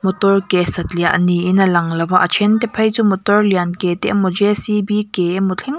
motor ke satliah niin a lang lova a then te phei chu motor lian ke te emaw ke emaw thleng--